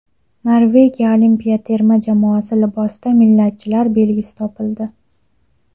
Norvegiya olimpiya terma jamoasi libosida millatchilar belgisi topildi.